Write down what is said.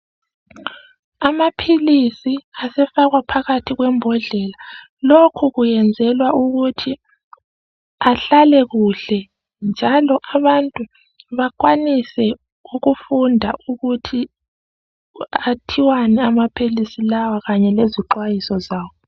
Amaphilisi asefakwa phakathi kwembodlela lokho kuyenzelwa ukuthi ahlale kuhle njalo abantu bakwanise ukufunda ukuthi athiwani amaphilisi lawo kanye lezixwayiso zawo .